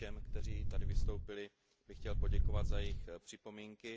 Všem, kteří tady vystoupili, bych chtěl poděkovat za jejich připomínky.